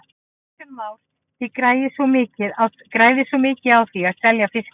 Kristján Már: Þið græðið svona mikið á því að selja fiskinn?